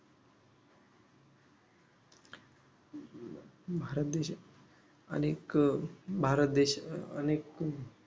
भारत देश अनेक भारत देश अनेक